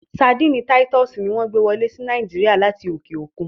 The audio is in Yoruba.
Sárḍíńí Títùsí ni wọn gbẹ wọlé sí Nàìjíríà látì okè okun.